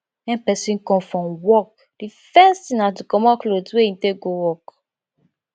when person come from work di first thing na to comot cloth wey im take go work